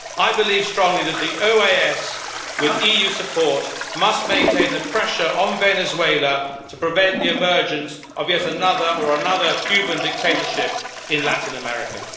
I believe strongly that the OAS, with EU support, must maintain the pressure on Venezuela to prevent the emergence of another Cuban dictatorship in Latin America.